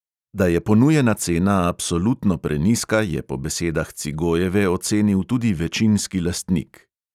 Da je ponujena cena absolutno prenizka, je po besedah cigojeve ocenil tudi večinski lastnik.